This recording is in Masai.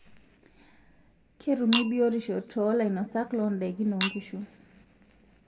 Ketumi biyotisho toolainosak loondaikin oonkishu.